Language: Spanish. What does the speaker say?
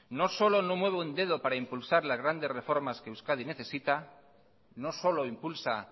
no solo no mueve un dedo para impulsar las grandes reformas que euskadi necesita no solo impulsa